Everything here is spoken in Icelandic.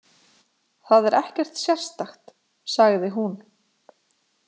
Það er ekkert sérstakt, sagði hún.